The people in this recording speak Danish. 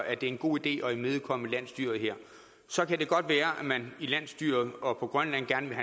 er en god idé at imødekomme landsstyret her så kan det godt være at man i landsstyret og på grønland gerne vil